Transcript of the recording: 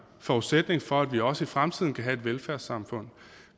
forudsætning for at vi også i fremtiden kan have et velfærdssamfund